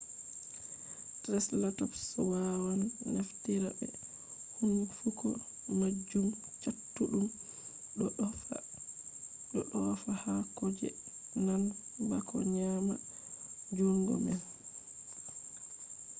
traiseratops waawan naftira be huunnfuko maajum cattuɗum ɗo ɗoofa haakoji nan bako nyaama njuungo man